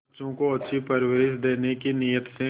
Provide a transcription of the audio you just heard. बच्चों को अच्छी परवरिश देने की नीयत से